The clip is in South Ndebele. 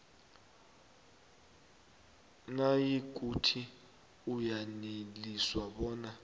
nayikuthi uyaneliswa bona